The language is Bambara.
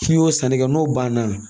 N'i y'o sanni kɛ n'o banna